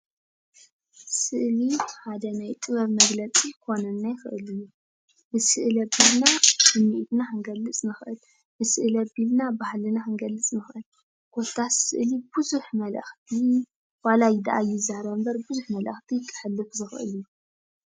ስእሊ ሓደ ናይ ጥበብ መግለፂ ክኾነና ይኽእል እዩ፡፡ ብስእሊ ኣቢልና ስምዒትና ክንገልፅ ንኽእል፡፡ ብስእሊ ኣቢልና ባህልና ክንገልፅ ንኽእል፡፡ ኮታስ ስእሊ ብዙሕ መልእኽቲ ዋላ ድኣ ኣይዛረብ እምበር ብዙሕ መልእኽቲ ከሕልፍ ዝኽእል እዩ፡፡